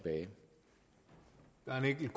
end